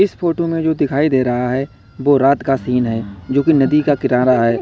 इस फोटो में जो दिखाई दे रहा है वो रात का सीन है जो की नदी का किनारा है।